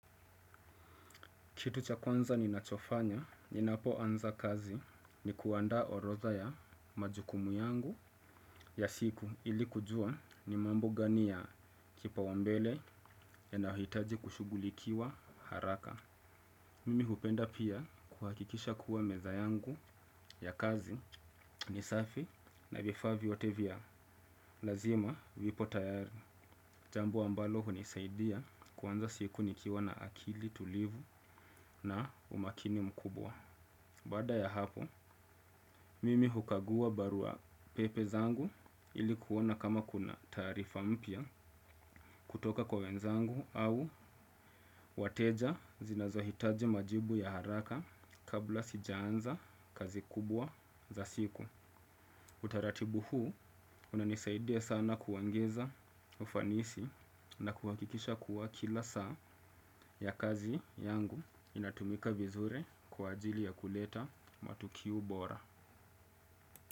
Kitu cha kwanza ninachofanya, ninapoanza kazi ni kuanda orodha ya majukumu yangu ya siku ili kujua ni mambo gani ya kipaumbele yanayohitaji kushughulikiwa haraka. Mimi hupenda pia kuhakikisha kuwa meza yangu ya kazi ni safi na vifaa vyote vya. Lazima vipo tayari. Jambo ambalo hunisaidia kuanza siku nikiwa na akili tulivu na umakini mkubwa. Baada ya hapo, mimi hukagua barua pepe zangu ili kuona kama kuna taarifa mpya kutoka kwa wenzangu au wateja zinazohitaji majibu ya haraka kabla sijaanza kazi kubwa za siku. Utaratibu huu, unanisaidia sana kuongeza ufanisi na kuhakikisha kuwa kila saa ya kazi yangu inatumika vizuri kwa ajili ya kuleta matokeo bora.